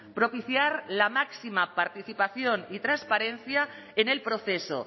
propiciar la máxima participación y transparencia en el proceso